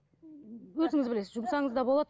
өзіңіз білесіз жұмсаңыз да болады